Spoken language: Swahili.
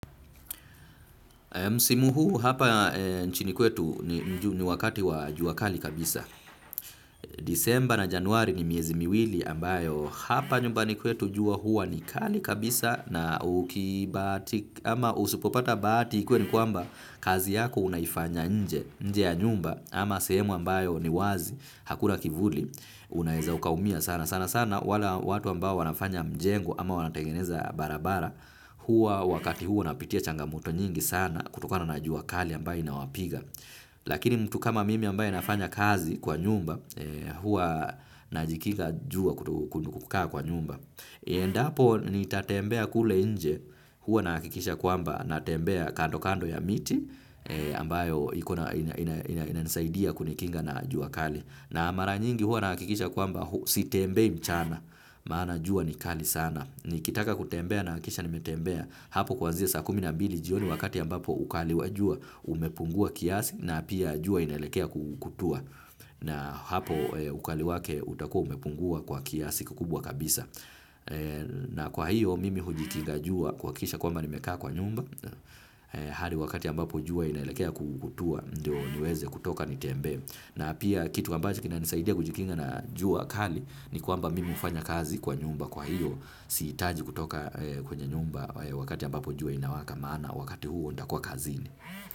Msimu huu hapa nchini kwetu ni wakati wa jua kali kabisa. Disemba na januari ni miezi miwili ambayo hapa nyumbani kwetu jua hua ni kali kabisa na ukibahatika ama usipopata bahati ikuwe ni kwamba kazi yako unaifanya nje ya nyumba ama sehemu ambayo ni wazi hakuna kivuli. Unaweza ukaumia sana, sana sana wale watu ambao wanafanya mjengo ama wanatengeneza barabara. Huwa wakati huo wanapitia changamoto nyingi sana kutokana na jua kali ambayo inawapiga. Lakini mtu kama mimi ambaye nafanya kazi kwa nyumba huwa najikinga jua kukaa kwa nyumba. Endapo nitatembea kule nje huwa nahakikisha kwamba natembea kando kando ya miti ambayo inanisaidia kunikinga na jua kali. Na mara nyingi huwa nahakikisha kwamba sitembei mchana maana jua ni kali sana. Nikitaka kutembea nahakikisha nimetembea hapo kwanzia saa kumi na mbili jioni wakati ambapo ukali wa jua umepungua kiasi na pia jua inaelekea kutua. Na hapo ukali wake utakuwa umepungua kwa kiasi kikubwa kabisa. Na kwa hiyo mimi hujikinga jua kuhakisha kwamba nimekaa kwa nyumba. Hadi wakati ambapo jua inaelekea kutua ndio niweze kutoka nitembee. Na pia kitu ambacho kinanisaidia kujikinga na jua kali ni kwamba mimi hufanya kazi kwa nyumba, kwa hiyo sihitaji kutoka kwenye nyumba wakati ambapo jua inawaka maana wakati huo nitakuwa kazini.